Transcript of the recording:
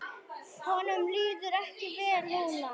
Honum líður ekki vel núna.